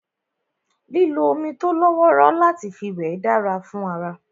Lílo omi tó lọ́wọ́rọ́ láti fi wẹ̀ dára fún ara